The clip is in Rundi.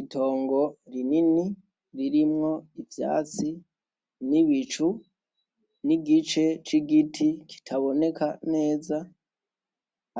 Itongo rinini ririmwo ivyatsi n’ibicu n’igice c’igiti kitaboneka neza ,